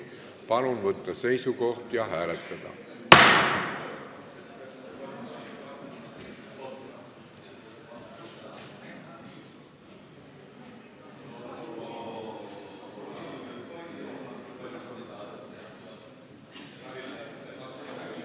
Palun võtta seisukoht ja hääletada!